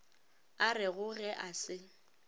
a rego ge a se